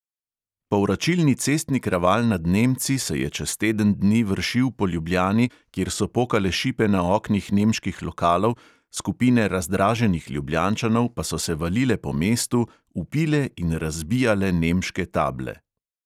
Povračilni cestni kraval nad nemci se je čez teden dni vršil po ljubljani, kjer so pokale šipe na oknih nemških lokalov, skupine razdraženih ljubljančanov pa so se valile po mestu, vpile in razbijale nemške table.